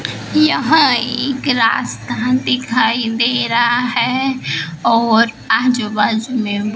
यहां एक रास्ता दिखाई दे रहा है और आजू बाजू में--